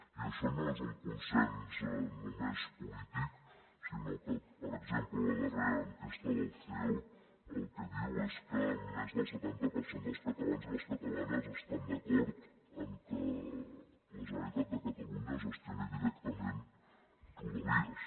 i això no és un consens només polític sinó que per exemple la darrera enquesta del ceo el que diu és que més del setanta per cent dels catalans i les catalanes estan d’acord en que la generalitat de catalunya gestioni directament rodalies